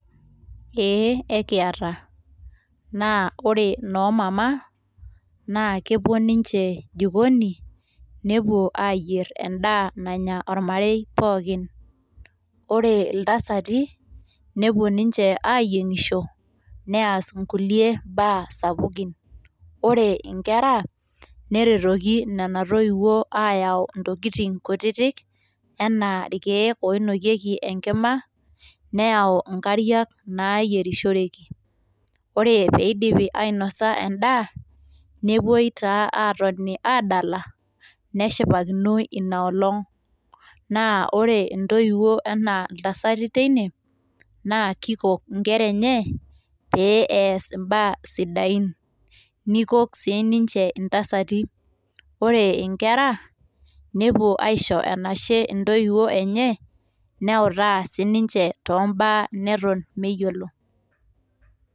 Eeh ekiata, naa ore noomama, naa kepuo ninche jikoni nepuo ayier endaa nanya ormarei pookin, ore iltasati nepuo ninche ayiengisho, neas inkulie baa sapukin ,ore inkera neretoki nona toiwuo ayau ntokitin kutitik anaa irkiek oinokieki enkima, neyau inkariak naayierishoroki, oree peidipi ainosa endaa, nepuoi taa aatoni adala neshipakinoi inaalong, naa ore intoiwuo anaa ntasai teine, naa keikok nkera enye pee eas imbaa sidain, neikok sii ninche ntasati. Ore nkera nepuo aisho enashe ntoiwuo enye neutaa sininche too mbaa neton meyiolo.